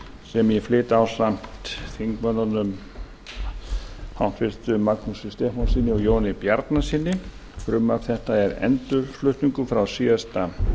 sem ég flyt ásamt háttvirtum þingmönnum magnúsi stefánssyni og jóni bjarnasyni frumvarp þetta er endurflutningur frá síðasta